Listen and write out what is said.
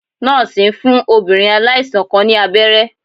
Nọ́ọ̀sì ń fún obìnrin aláìsàn kan ní abẹ́rẹ́